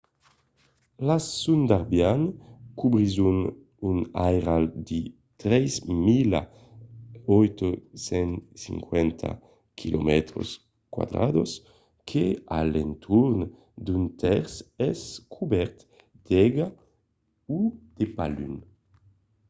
las sundarbians cobrisson un airal de 3 850 km² que a l'entorn d'un tèrç es cobèrt d'aiga o de paluns